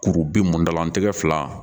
Kuru bin mɔndalantigɛ fila